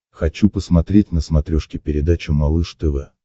хочу посмотреть на смотрешке передачу малыш тв